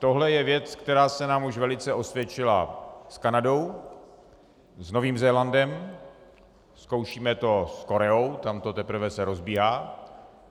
Tohle je věc, která se nám už velice osvědčila s Kanadou, s Novým Zélandem, zkoušíme to s Koreou, tam se to teprve rozbíhá.